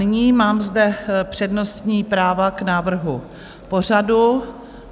Nyní mám zde přednostní práva k návrhu pořadu.